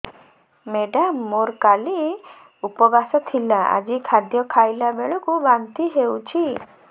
madam ମୋର କାଲି ଉପବାସ ଥିଲା ଆଜି ଖାଦ୍ୟ ଖାଇଲା ବେଳକୁ ବାନ୍ତି ହେଊଛି